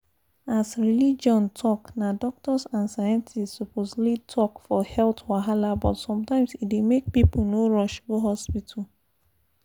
as religion talk na doctors and scientists suppose lead talk for health wahala but sometimes e dey make people no rush go hospital.